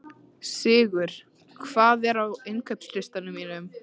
Sigur, hvað er á innkaupalistanum mínum?